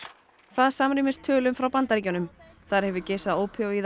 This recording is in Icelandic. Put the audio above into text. það samrýmist tölum frá Bandaríkjunum þar hefur geisað